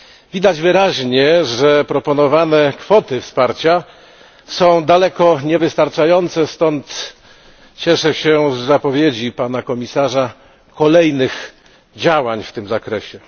Widać wyraźnie, że proponowane kwoty wsparcia są daleko niewystarczające, stąd cieszę się z zapowiedzi Pana Komisarza dotyczącej kolejnych działań w tym zakresie.